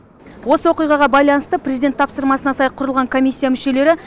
осы оқиғаға байланысты президент тапсырмасына сай құрылған комиссия мүшелері